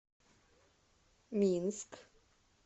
минск